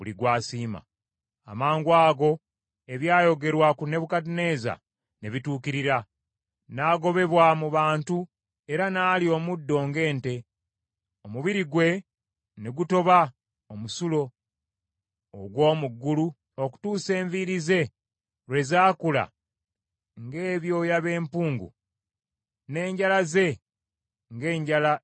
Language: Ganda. Amangwago ebyayogerwa ku Nebukadduneeza ne bituukirira. N’agobebwa mu bantu era n’alya omuddo ng’ente. Omubiri gwe ne gutoba omusulo ogw’omu ggulu okutuusa enviiri ze lwe zaakula ng’ebyoya by’empungu n’enjala ze ng’enjala z’ennyonyi.